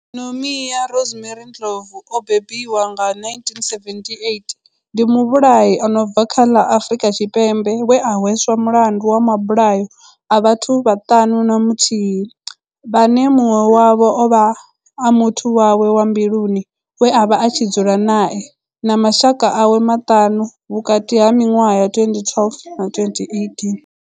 Nomia Rosemary Ndlovu o bebiwaho nga, 978, ndi muvhulahi a no bva kha ḽa Afurika Tshipembe we a hweswa mulandu wa mabulayo a vhathu vhaṱanu na muthihi vhane munwe wavho ovha a muthu wawe wa mbiluni we avha a tshi dzula nae na mashaka awe maṱanu vhukati ha minwaha ya 2012 na 2018.